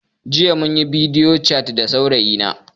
Jiya munyi bidiyo cat da saurayi na